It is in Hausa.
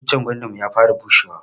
Icen gwandanmu ya fara bushe wa.